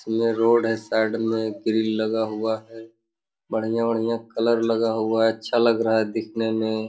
में रोड है साइड में ग्रिल लगा हुआ है बढ़िया-बढ़िया कलर लगा हुआ हैं अच्छा लग रहा है देखने में।